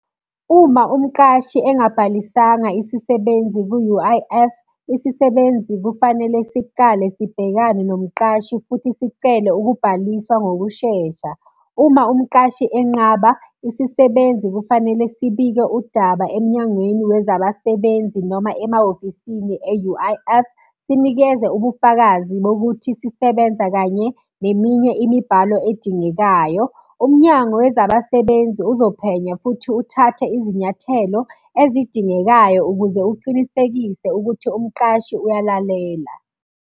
Uma umqashi engabhalisanga isisebenzi ku-U_I_F, isisebenzi kufanele sicale sibhekane nomqashi futhi sicele ukubhaliswa ngokushesha. Uma umqashi enqaba, isisebenzi kufanele sibike udaba emnyangweni wezabasebenzi noma emahhofisini e-U_I_F. Sinikeze ubufakazi bokuthi sisebenza kanye neminye imibhalo edingekayo. Umnyango wezabasebenzi uzophenya futhi uthathe izinyathelo ezidingekayo ukuze uqinisekise ukuthi umqashi uyalalela.